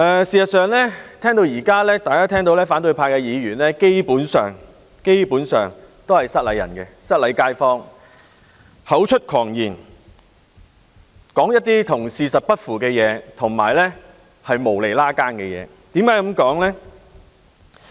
事實上，討論至此，大家聽到反對派議員的發言基本上都是"失禮街坊"的，他們口出狂言，所說的事與事實不符且毫無關係。